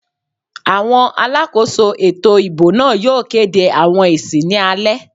Àwọn alákòóso ètò ìbò náà yóò kéde àwọn èsì ní alẹ́